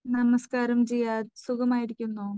നമസ്കാരം ജിയാദ്. സുഖമായിരിക്കുന്നോ?